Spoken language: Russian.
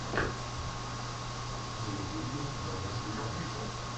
на ютьюбе драянте зан